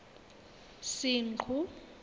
senqu